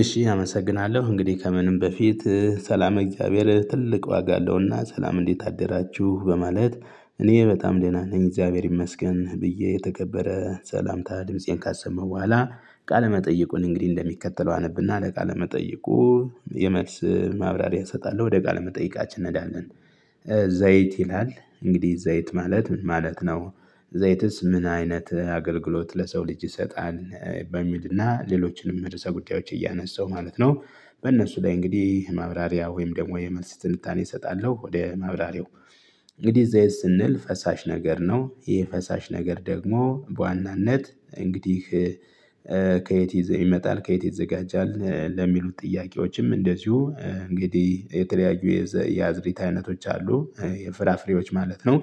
እሺ አመሰግናለሁ እንግዲህ ከምንም በፊት ሰላም ለእግዚአብሔር ትልቅ ዋጋ አለውና። ሰላም እንዴት አደራችሁ በማለት። እኔ በጣም ደህና ነኝ እግዚአብሔር ይመስገን ብዬ የተከበረ ሰላምታ ድምፄን ካሰማሁ በኋላ። ቃለመጠይቁን እንግዲህ እንደሚከተለው አነብና ለቃለመጠይቁ የመልስ ማብራሪያ እሰጣለሁ ወደ ቃል መጠየቃችን እንሀዳለን። ዘይት ይላል እንግዲህ ዘይት ማለት ምን ማለት ነው? ዘይትስ ምን አይነት አገልግሎት ለሰው ልጅ ይሰጣል? በሚልና ሌሎችንም ርዕሰ ጉዳዮች እያነሳው ማለት ነው። በእነሱ ላይ እንግዲህ ማብራሪያ ወይም ደግሞ የመልስ ትንታኔ እሰጣለሁ። ወደ ማብራሪያው እንግዲህ ዘይት ስንል ፈሳሽ ነገር ነው። ይህ ፈሳሽ ነገር ደግሞ በዋናነት እንግዲህ ከየት ይመጣል ከየት ይዘጋጃል? ለሚሉት ጥያቄዎችም እንደዚሁ እንግዲህ የተለያዩ የአዝርዕት አይነቶች አሉ የፍራፍሬዎች ማለት ነው።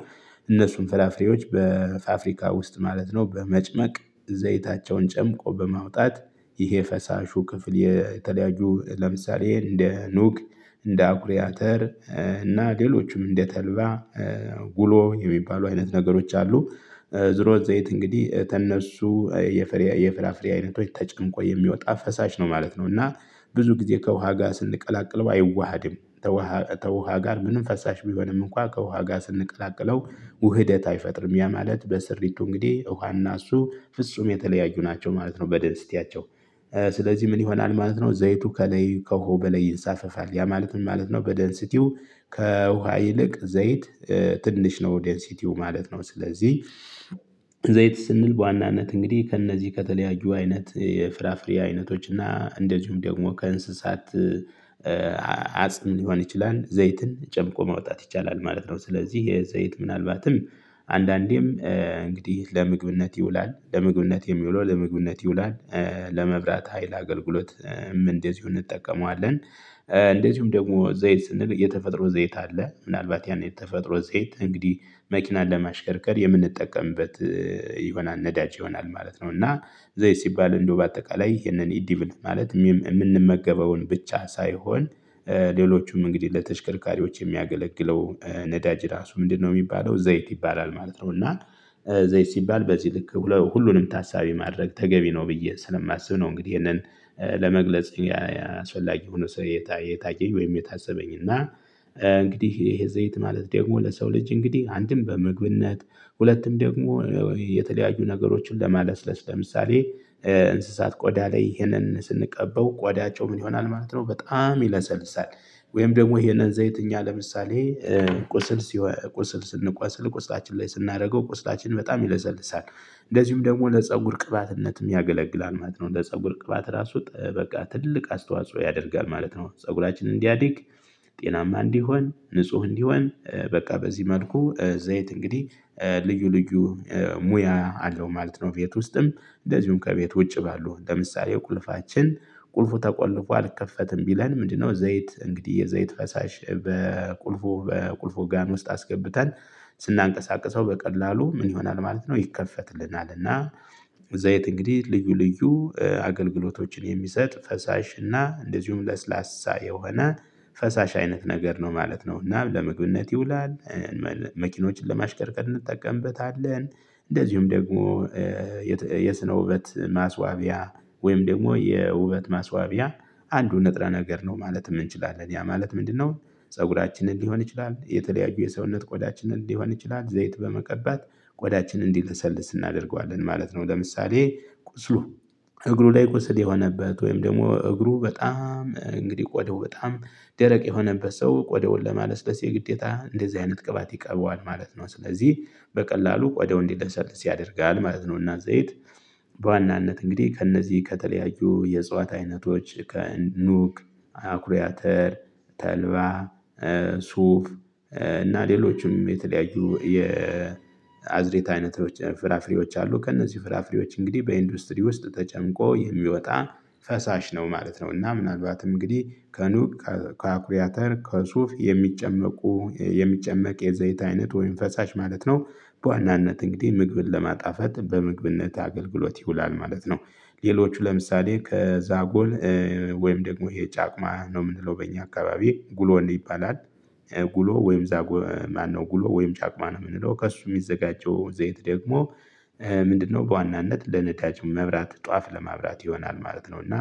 እነሱም ፍራፍሬዎች በፋብሪካ ውስጥ ማለት ነው በመጭመቅ ዘይታቸውን ጨምቆ በማውጣት ይሄ ፈሳሹ ክፍል የተለያየ ለምሳሌ እንደ ኑክ እንደ አኩሪዓተር እና ሌሎችም እንደተልባ ጉሎ የሚባሉ አይነት ነገሮች አሉ። ዝሮ ዘይት እንግዲህ ተነሱ የፍራፍሬ አይነቶች ተጨምቆ የሚወጣ ፈሳሽ ነው ማለት ነው። እና ብዙ ጊዜ ከውሃ ጋር ስንቀላቅሎ አይዋሃድም። ከውሃ ጋር ምንም ፈሳሽ ቢሆንም እንኳን ከውሃ ጋር ስንቀላቅለው ውህደት አይፈጥርም። ያ ማለት በስሪቱ እንግዲህ ውሃ እና እሱ ፍጹም የተለያዩ ናቸው ማለት ነው። በደነስቲያቸው ስለዚህ ምን ይሆናል ማለት ነው ዘይቱ ከላይ ከውሃው በላይ ይንሳፈፋል ያ ማለት ምን ማለት ነው? በደንሲቲው ከውሃ ይልቅ ዘይት ትንሽ ነው ዴንሲቲው ማለት ነው። ስለዚህ ዘይት ስንል በዋናነት እንግዲህ ከእነዚህ ከተለያዩ አይነት የፍራፍሬ አይነቶች እና እንደዚሁም ደግሞ ከእንስሳት አጽም ሊሆን ይችላል ዘይትን ጨምቆ ማውጣት ይቻላል ማለት ነው። ስለዚህ የዘይት ምናልባትም አንዳንዴም እንግዲህ ለመግብነት ይውላል ለመግብነት የሚውለው ለምግብነት ይውላል። ለመብራት ሀይል አገልግሎት እንደዚሁ እንጠቀመዋለን። እንደዚሁም ደግሞ ዘይት ስንል የተፈጥሮ ዘይት አለ ምናልባት ያ የተፈጥሮ ዘይት እንግዲህ መኪናን ለማሽከርከር የምንጠቀምበት ይሆናል ነዳጅ ይሆናል ማለት ነው። እና ዘይት ሲባል እንደው በአጠቃላይ የህንን ማለት የምንመገበውን ብቻ ሳይሆን ሌሎቹም እንግዲህ ለተሽከርካሪዎች የሚያገለግለው ነዳጅ ራሱ ምንድነው የሚባለው ዘይት ይባላል ማለት ነው። እና ዘይት ሲባል በዚህ ልክ ሁሉንም ታሳቢ ማድረግ ተገቢ ነው ብዬ ስለማስብ ነው። እንግዲህ ይሄንን ለመግለጽ አስፈጊ ሆኖ የታየኝ ወይም የታዘብኩት እና እንግዲህ ይህንን ዘይት ማለት ደግሞ ለሰው ልጅ እንግዲህ አንድም በምግብነት ሁለትም ደግሞ የተለያዩ ነገሮችን ለማለስለስ ለምሳሌ እንስሳት ቆዳ ላይ ይሄንን ስንቀበው ቆዳቸው ምን ይሆናል ማለት ነው በጣም ይለሰልሳል። ወይም ደግሞ ይሄንን ዘይት እኛ ለምሳሌ ቁስል ስንቆስል ቁስላችን ላይ ስናደርገው ቁስላችን በጣም ይለሰልሳል። እንደዚሁም ደግሞ ለፀጉር ቅባትነትም ያገለግላል ማለት ነው። እንደ ፀጉር ቅባት ራሱ በቃ ትልቅ አስተዋጽኦ ያደርጋል ማለት ነው። ፀጉራችንን እንዲያድግ ጤናማ እንዲሆን ንጹህ እንዲሆን በቃ በዚህ መልኩ ዘይት እንግዲህ ልዩ ልዩ ሙያ አለው ማለት ነው። ቤት ውስጥም እንደዚሁም ከቤት ውጭ ባሉ ለምሳሌ ቁልፋችን ቁልፉ ተቆልፎ አልከፈት ቢለን ምንድነው ዘይት እንግዲህ የዘይት ፈሳሽ በቁልፍ ጋን ውስጥ አስገብተን ስናንቀሳቅሰው በቀላሉ ምን ይሆናል ማለት ነው ይከፈትልናል። እና ዘይት እንግዲህ ልዩ ልዩ አገልግሎቶችን የሚሰጥ ፈሳሽ እና እንደዚሁም ለስላሳ የሆነ ፈሳሽ አይነት ነገር ነው ማለት ነው። እና ለመግብነት ይውላል መኪኖችን ለማሽከርከር እንጠቀምበታለን። እንደዚሁም ደግሞ የስነ ውበት ማስዋቢያ ወይም ደግሞ የውበት ማስዋቢያ አንዱ ንጥረ ነገር ነው ማለት እንችላለን። ያ ማለት ምንድነው? ፀጉራችንን ሊሆን ይችላል የተለያዩ የሰውነት ቆዳችንን ሊሆን ይችላል ዘይት በመቀባት ቆዳችን እንዲለሰልስ እናደርገዋለን ማለት ነው። ለምሳሌ ቁስሉ እግሩ ላይ ቁስል የሆነበት ወይም ደግሞ እግሩ በጣም እንግዲህ ቆደው በጣም ደረቅ የሆነበት ሰው ቆደውን ለማለስለስ የግዴታ እንደዚህ አይነት ቅባት ይቀበዋል ማለት ነው። ስለዚህ በቀላሉ ቆዳው እንዲለሰልስ ያደርጋል ማለት ነውና ዘይት። በዋናነት እንግዲህ ከእነዚህ ከተለያዩ የእጽዋት አይነቶች ከኑጉ አኩሪዓተር ተልባ ሱፍ እና ሌሎችም የተለያዩ የአዝርእት አይነቶች ፍራፍሬዎች አሉ ከእነዚህ ፍራፍሬዎች እንግዲህ በኢንዱስትሪ ውስጥ ተጨምቆ የሚወጣ ፈሳሽ ነው ማለት ነው። እና ምናልባት እንግዲህ ከኑጉ ከአኩሪዓተር ከሱፍ የሚጨመቅ የዘይት አይነት ወይም ፈሳሽ ማለት ነው። በዋናነት እንግዲህ ምግብን ለማጣፈጥ በምግብነት አገልግሎት ይውላል ማለት ነው። ሌሎቹ ለምሳሌ ከዛጎል ወይም ደግሞ የጫቅማ ነው የምንለው በእኛ አካባቢ ጉሎ ይባላል። ጉሎ ወይም ጫቅማ ነው የምንለው ከሱ የሚዘጋጀው ዘይት ደግሞ ምንድነው በዋናነት ለእምነታችን መብራት ጧፍ ለማብራት ይሆናል ማለት ነው። እና